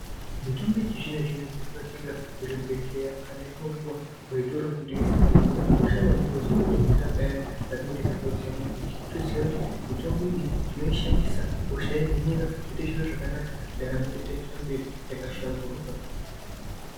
Mitombo yechizvino zvino yatinotenga kuzvibhedhlera kana yatinopuwa kuzvitoro zvinotengeswa mitombo yakakosha maningi ngekuti inodetsera Payani patinenge tarwadziwa maningi wotoziya kuti mitombo iyi tinoishandisa hosha yohinika zvotoita zvakanaka totoenderera mberi takahlamburuka.